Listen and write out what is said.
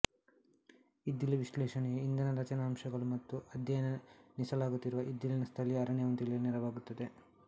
ಇದ್ದಿಲು ವಿಶ್ಲೇಷಣೆಯು ಇಂಧನ ರಚನಾಂಶಗಳು ಮತ್ತು ಅಧ್ಯಯನಿಸಲಾಗುತ್ತಿರುವ ಇದ್ದಿಲಿನ ಸ್ಥಳೀಯ ಅರಣ್ಯವನ್ನು ತಿಳಿಯಲು ನೆರವಾಗುತ್ತದೆ